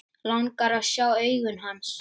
Langar að sjá augu hans.